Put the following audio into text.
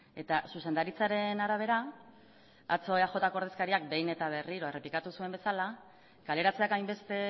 eta zuzendaritzaren arabera atzo eaj ko ordezkariak behin eta berriro errepikatu zuen bezala kaleratzeak hainbeste